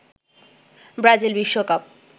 Brazil বিশ্বকাপ